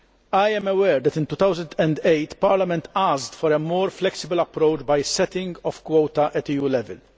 I am aware that in 2008 Parliament asked for a more flexible approach by setting of quota' at EU level.